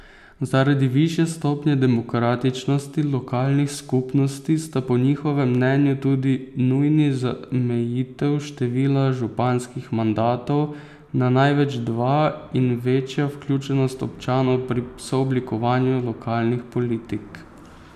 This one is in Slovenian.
Zaradi višje stopnje demokratičnosti lokalnih skupnosti sta po njihovem mnenju tudi nujni zamejitev števila županskih mandatov na največ dva in večja vključenost občanov pri sooblikovanju lokalnih politik.